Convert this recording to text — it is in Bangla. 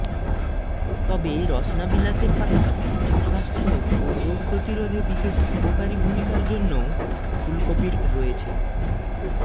তবে রসনা বিলাসের পাশাপাশি সুস্বাস্থ্য ও রোগ প্রতিরোধে বিশেষ উপকারী ভূমিকার জন্যও ফুলকপির রয়েছে